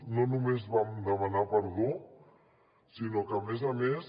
no només vam demanar perdó sinó que a més a més